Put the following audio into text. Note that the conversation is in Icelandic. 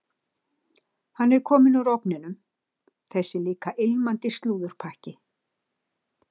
Hann er kominn úr ofninum, þessi líka ilmandi slúðurpakki.